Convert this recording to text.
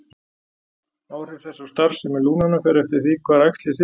Áhrif þess á starfsemi lungnanna fer eftir því hvar æxlið situr.